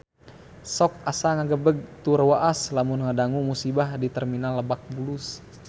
Sok asa ngagebeg tur waas lamun ngadangu musibah di Terminal Lebak Bulus